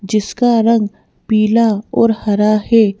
जिसका रंग पिला और हरा है।